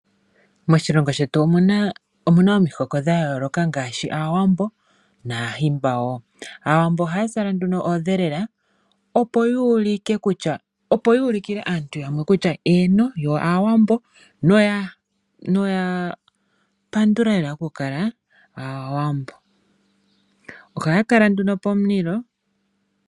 Moshilongo shetu omu na omihoko dha yooloka ngaashi Aawambo nAahimba wo. Aawambo ohaa zala nduno oondhelela, opo yu ulikile aantu yamwe kutya , eeno, yo Aawambo noya pandula lela okukala Aawambo. Ohaya kala nduno pomulilo.